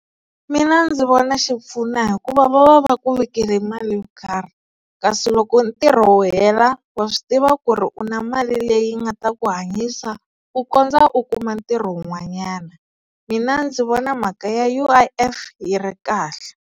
Mina ndzi vona xi pfuna hikuva va va va ku vekele mali yo karhi kasi loko ntirho wu hela wa swi tiva ku ri u na mali leyi nga ta ku hanyisa ku kondza u kuma ntirho wun'wanyana mina ndzi vona mhaka ya U_I_F yi ri kahle.